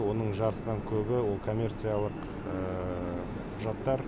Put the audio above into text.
оның жартысынан көбі ол коммерциялық құжаттар